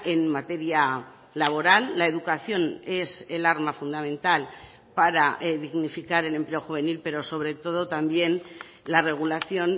en materia laboral la educación es el arma fundamental para dignificar el empleo juvenil pero sobre todo también la regulación